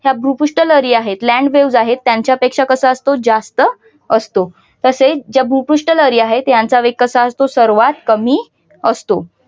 ह्या भूपृष्ठ लहरी आहेत. land waves त्यांच्या पेक्षा कसा असतो जास्त असतो. तसेच ज्या भूपृष्ठ लहरी आहेत त्यांचा वेग कसा असतो. सर्वाधिक कमी असतो.